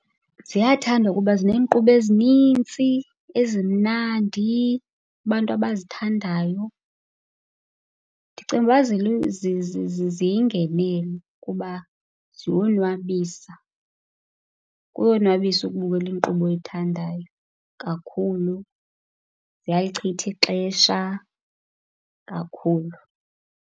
Ziyathandwa kuba zineenkqubo ezinitsi, ezimnandi, abantu abazithandayo. Ndicinga ukuba ziyingenelo kuba ziyonwabisa, kuyonwabisa ukubukela inkqubo oyithandayo kakhulu. Ziyalichitha ixesha kakhulu.